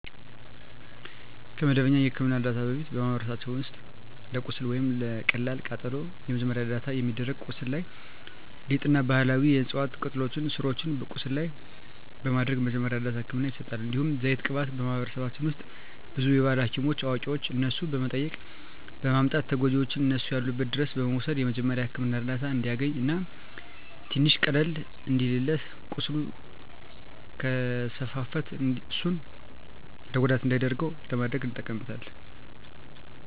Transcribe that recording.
ከመደበኛ የሕክምና ዕርዳታ በፊት፣ በማኅበረሰባችን ውስጥ ለቁስል ወይም ለቀላል ቃጠሎ መጀመሪያ ደረጃ እርዳታ የሚደረገው ቁስሉ ላይ ሊጥ እና ባህላዊ የዕፅዋት ቅጠሎችን ስሮችን ቁስሉ ላይ በማድረግ መጀመሪያ እርዳታ ህክምና ይሰጣል። እንዲሁም ዘይት ቅባት በማህበረሰባችን ውስጥ ብዙ የባህል ሀኪሞች አዋቂዋች እነሱን በመጠየቅ በማምጣት ተጎጅውን እነሱ ያሉበት ድረስ በመውሰድ የመጀሪያዉ ህክምና እርዳታ እንዲያገኝ እና ትንሽ ቀለል እንዲልለት ቁስሉ ከስፋፋት እሱን ለጉዳት እንዳይዳርገው ለማድረግ እንጠቀምበታለን።